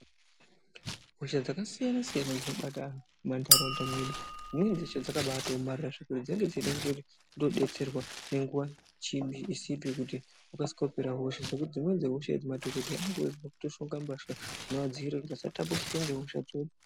Hosha dzakasiyana siyana dzinobata anthu mumantaraunda mwedu dzimweni dzacho dzakabaaomarara zvekuti dzinenge dzeida kudetserwa ngenguwa isipi kuti dzikasike kupera hosha, zvekuti dzimweni dzehosha idzi madhokodheyaanopfeka mbasha dzinovadzivirire kuti vasatapulirwa ngehosha.